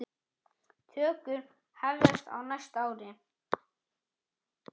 Tökur hefjast á næsta ári.